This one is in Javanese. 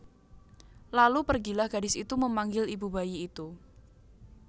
Lalu pergilah gadis itu memanggil ibu bayi itu